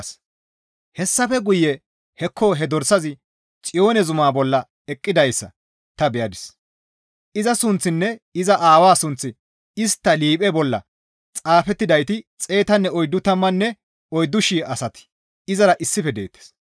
Hessafe guye hekko he dorsazi Xiyoone zumaa bolla eqqidayssa ta beyadis; iza sunththinne iza Aawaa sunththi istta liiphe bolla xaafettidayti xeetanne oyddu tammanne oyddu shii asati izara issife deettes.